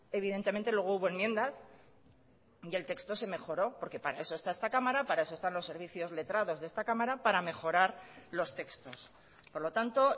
evidentemente luego hubo enmiendas y el texto se mejoró porque para eso está esta cámara para eso están los servicios letrados de esta cámara para mejorar los textos por lo tanto